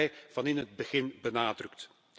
Dat hebben wij van in het begin benadrukt.